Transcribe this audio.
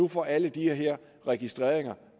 får alle de her registreringer